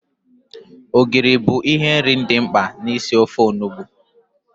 Ogiri bụ ihe nri dị mkpa na isi ofe Onugbu